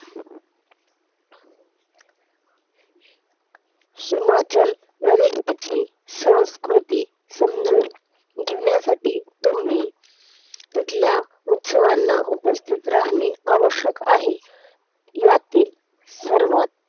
हिमाचल प्रदेशाची संस्कृती समजून घेण्यासाठी तुम्ही तिथल्या उत्सवांना उपस्थित राहणे आवश्यक आहे. यातील सर्वात